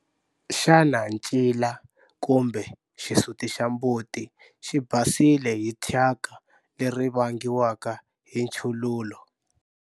Xana ncila kumbe xisuti xa mbuti xi basile hi thyaka eri vangiwaka hi nchululo?